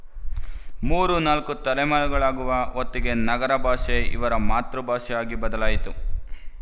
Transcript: ಮೂರು ನಾಲ್ಕು ತಲೆಮಾರುಗಳಾಗುವ ಹೊತ್ತಿಗೆ ನಗರ ಭಾಷೆ ಇವರ ಮಾತೃಭಾಷೆ ಆಗಿ ಬದಲಾಯಿತು